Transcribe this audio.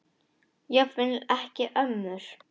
Jafnvel ekki ömmur.